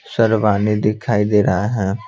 सरवानी दिखाई दे रहा है।